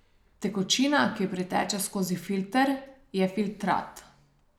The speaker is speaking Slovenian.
Tekočina, ki priteče skozi filter, je filtrat.